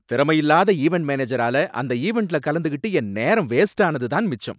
திறமையில்லாத event மேனேஜறால அந்த ஈவெண்ட்ல கலந்துகிட்டு என் நேரம் வேஸ்டானது தான் மிச்சம்.